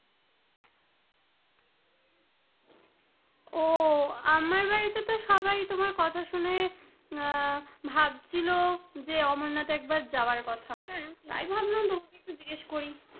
ও আমার বাড়িতে তো সবাই তোমার কথা শুনে আহ ভাবছিল যে অমর-নাথ একবার যাওয়ার কথা তাই ভাবলাম তোমাকে জিগেস করি,